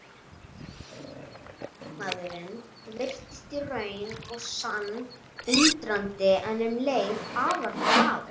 Lögmaðurinn virtist í raun og sann undrandi en um leið afar glaður.